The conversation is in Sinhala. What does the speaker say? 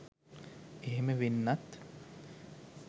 එහෙම වෙන්නත්